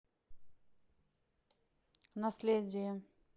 наследие